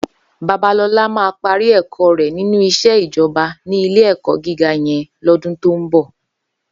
Babalola má pàrí èkò rè ninú iṣé ijòbá ni ilé èkò gigá yèn lòdún tó n bò